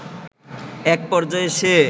একপর্যায়ে সে